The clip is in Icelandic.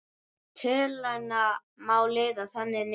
Töluna má liða þannig niður